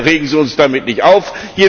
Bitte regen Sie uns damit nicht auf.